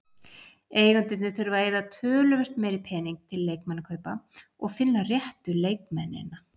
Eigendurnir þurfa að eyða töluvert meiri pening til leikmannakaupa og finna réttu leikmennina.